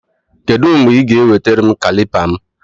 Kedụ mgbe Ị ga ewetara m kalịpa m?